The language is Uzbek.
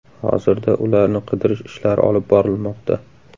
Hozirda ularni qidirish ishlari olib borilmoqda.